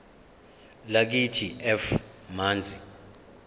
lakithi f manzi